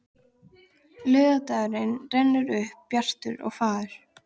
Laugardagurinn rennur upp bjartur og fagur.